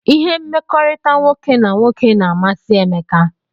Ihe mmekọrịta nwoke na nwoke na amasi Emeka